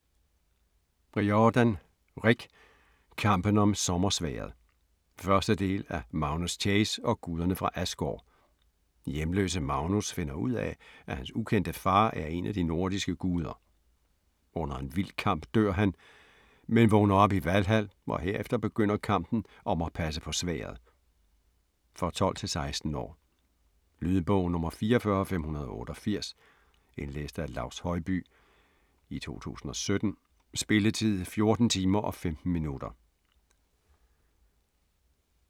Riordan, Rick: Kampen om sommersværdet 1. del af Magnus Chase og guderne fra Asgård. Hjemløse Magnus finder ud af, at hans ukendte far er en af de nordiske guder. Under en vild kamp dør han, men vågner op i Valhal og herefter begynder kampen om at passe på sværdet. For 12-16 år. Lydbog 44588 Indlæst af Laus Høybye, 2017. Spilletid: 14 timer, 15 minutter.